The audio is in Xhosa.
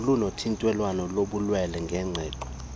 nolunokuthintelwa lobulwelwe ngenqondo